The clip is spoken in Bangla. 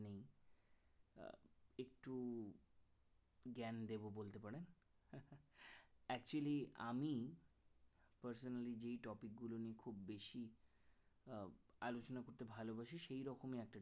জ্ঞান দেবো বলতে পারেন actually আমি personally যে topic গুলো নিয়ে খুব বেশি আলোচনা করতে ভালোবাসি সেই রকমই একটা